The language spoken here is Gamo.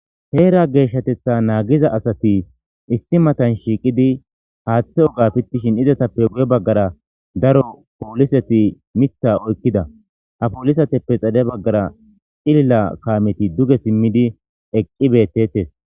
Heera geeshshatetha naagiza asati issi matan shiiqidi haaththe oga pittishin izatappe guye baggara daro pooliseti mitha oykkida ha poolisateppe xale baggara cilila kaameti duge simmidi eqqi beettetes.